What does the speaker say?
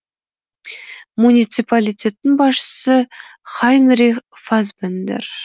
муниципалитеттің басшысы хайнрих фасбендер